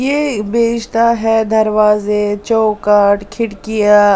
यह बेचता हैदरवाजे चौकट खिड़कियां।